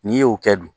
N'i y'o kɛ dun